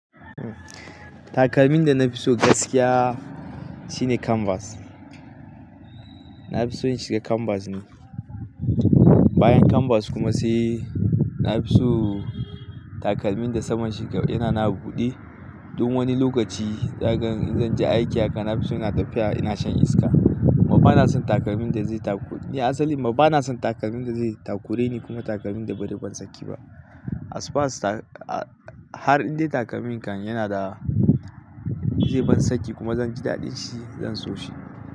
Takalmin da na fi so gaskiya shine Canvas. Na fi so in shiga Canvas ne. Bayan Canvas kuma sai na fi so takalmin da saman shi yana na buɗe. Duk wani lokaci zakaga in zan je aiki haka na fi so ina tafiya ina shan iska. Kuma ba na son takalmin da zai takur, ni asali ma ba na son takalmin da zai takure ni kuma takalmin da bari ban saki ba. As far as ta-- a har indai takalmin kan yana da zai ban saki kuma zan ji daɗin shi zan so shi.